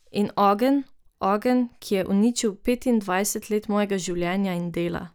In ogenj, ogenj, ki je uničil petindvajset let mojega življenja in dela.